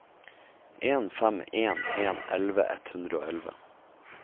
en fem en en elleve ett hundre og elleve